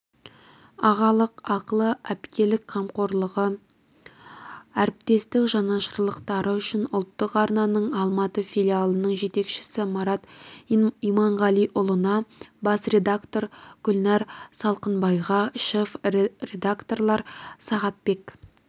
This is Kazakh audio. ағалық ақылы әпкелік қамқорлығы әріптестік жанашырлықтары үшін ұлттық арнаның алматы филиалының жетекшісі марат иманғалиұлына бас редактор гүлнәр салықбайға шеф редакторлар сағатбек